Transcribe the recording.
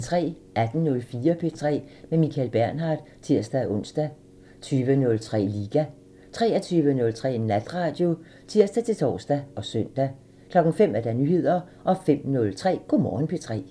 18:04: P3 med Michael Bernhard (tir-ons) 20:03: Liga 23:03: Natradio (tir-tor og søn) 05:00: Nyheder 05:03: Go' Morgen P3